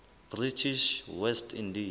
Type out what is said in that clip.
british west indies